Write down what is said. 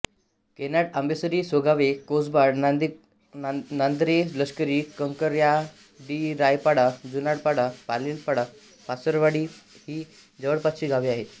कैनाड आंबेसरी सोगवे कोसबाड नांदरे लष्करी कंकराडीरायपाडा जुनाडपाडा पाटीलपाडा पारसवाडी ही जवळपासची गावे आहेत